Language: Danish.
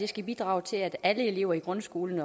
skal bidrage til at alle elever i grundskolen